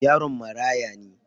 Yaron marãya ne.